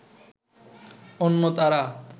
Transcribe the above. অন্য তারা